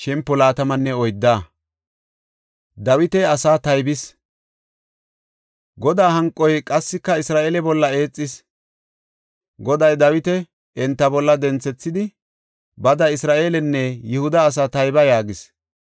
Godaa hanqoy qassika Isra7eele bolla eexis; Goday Dawita enta bolla denthethidi, “Bada Isra7eelenne Yihuda asaa tayba” yaagis.